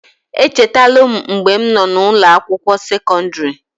Echetalu m mgbe m nọ n'ụnọ akwụkwọ sekọndịrị.